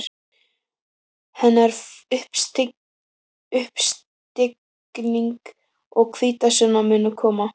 Hennar uppstigning og hvítasunna munu koma.